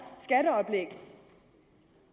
skatteoplæg